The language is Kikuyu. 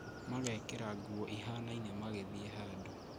Magekĩira nguo ĩhanaine magĩthiĩ handũ